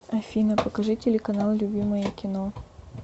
афина покажи телеканал любимое кино